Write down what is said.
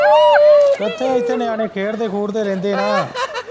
ਇੱਕਠੇ ਇੱਥੇ ਨਿਆਣੇ ਖੇਡਦੇ-ਖੂਡਦੇ ਰਹਿੰਦੇ ਨਾ।